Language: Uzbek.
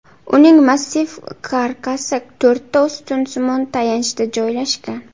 Uning massiv karkasi to‘rtta ustunsimon tayanchda joylashgan.